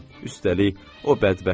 Üstəlik, o bədbəxtdir.